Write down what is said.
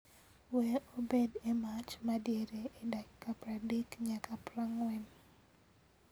Wee obed e mach madiere e dakika pradek nyaka prang'wen